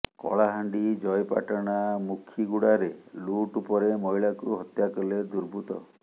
କଳାହାଣ୍ଡି ଜୟପାଟଣା ମୁଖିଗୁଡାରେ ଲୁଟ୍ ପରେ ମହିଳାଙ୍କୁ ହତ୍ୟା କଲେ ଦୁର୍ବୃତ୍ତ